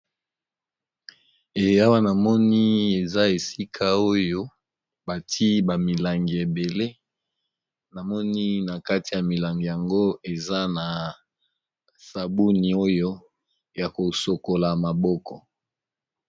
Awa namoni eza esika oyo bati ba milangi ebele na moni na kati ya milangi yango eza na sabuni oyo ya kosokola maboko.